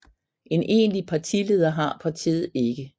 En egentlig partileder har partiet ikke